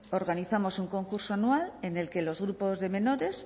organizamos un concurso anual en el que los grupos de menores